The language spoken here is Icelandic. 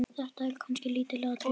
Þetta eru kannski lítil atriði.